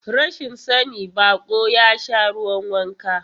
Rashin sani, baƙo ya sha ruwan wanka.